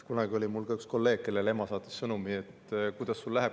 Kunagi oli mul üks kolleeg, kellele ema saatis sõnumi: "Kuidas sul läheb?